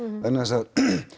vegna þess að